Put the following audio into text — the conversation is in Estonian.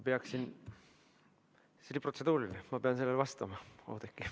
See oli protseduuriline ja ma pean sellele vastama, Oudekki.